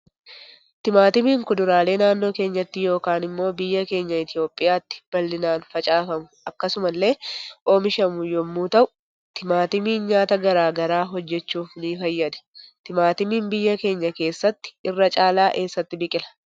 Timaatimiin kuduraalee naannoo keenyatti yookaan immoo biyya keenya itoophiyatti bal'inaan faacafamu akkasumas ille oomishamu yommuu ta'u timaatimiin nyaata garaa garaa hojjechuuf ni fayyada. Timaatimiin biyya keenya kessatti irra caala eessatti biqila?